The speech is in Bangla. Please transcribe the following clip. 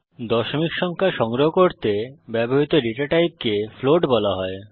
দশমিক সংখ্যা সংগ্রহ করতে ব্যবহৃত ডেটা টাইপকে ফ্লোট বলা হয়